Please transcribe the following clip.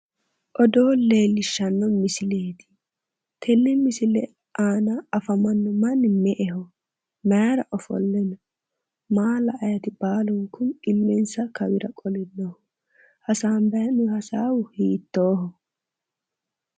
Odoo leelisshanno misileeti, tenne misile aana afamanno manni me"eho? mayra ofolle no? Maa la'anni illensa kawira qole no?hasabbanni hee'noonni hasaawi hiittoho?